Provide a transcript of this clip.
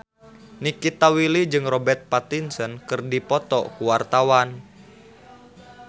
Nikita Willy jeung Robert Pattinson keur dipoto ku wartawan